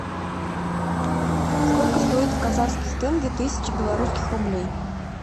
сколько стоит в казахских тенге тысяча белорусских рублей